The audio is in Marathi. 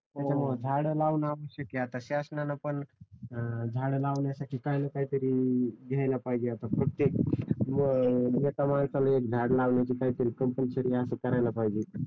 त्याच्यामुळे झाड लावणे आवश्यक आहे आता शासनाने पण झाड लावण्यासाठी काही ना काही तरी घ्यायला पाहिजे आता प्रत्येक एका माणसाला एक झाड लावण्याची कंपल्सरी असं करायला पाहिजे